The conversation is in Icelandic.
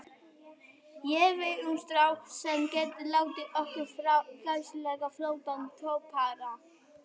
Ég veit um strák sem getur látið okkur fá æðislega flottan toppara.